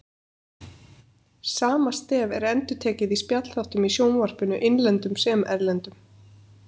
Sama stef er endurtekið í spjallþáttum í sjónvarpinu, innlendum sem erlendum.